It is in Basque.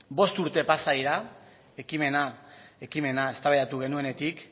bost urte pasa dira ekimena eztabaidatu genuenetik